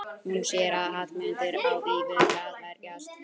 Hún sér að Hallmundur á í vök að verjast.